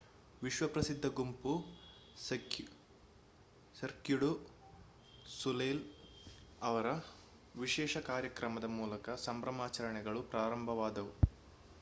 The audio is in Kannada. ವಿಶ್ವಪ್ರಸಿದ್ಧ ಗುಂಪು ಸರ್ಕ್ಯೂ ಡು ಸೊಲೈಲ್ ಅವರ ವಿಶೇಷ ಕಾರ್ಯಕ್ರಮದ ಮೂಲಕ ಸಂಭ್ರಮಾಚರಣೆಗಳು ಪ್ರಾರಂಭವಾದವು